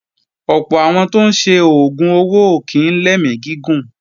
Ọ̀pọ̀ àwọn tó ń ṣe oògùn owó ò kí ń lẹ́mí gígùn